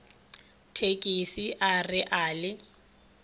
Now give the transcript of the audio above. thekise a re a le